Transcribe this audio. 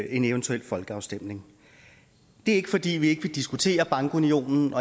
en eventuel folkeafstemning det er ikke fordi vi ikke vil diskutere bankunionen